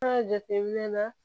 An ka jateminɛ na